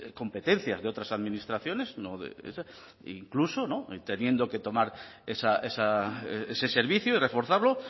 competencias de otras administraciones incluso teniendo que tomar ese servicio y reforzarlo